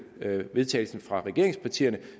til vedtagelse fra regeringspartierne